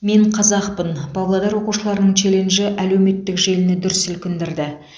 мен қазақпын павлодар оқушыларының челленджі әлеуметтік желіні дүр сілкіндірді